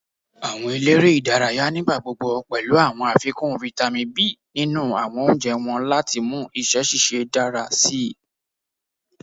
Awọn elere idaraya nigbagbogbo pẹlu awọn afikun Vitamin B ninu awọn ounjẹ wọn lati mu iṣẹ ṣiṣe dara sii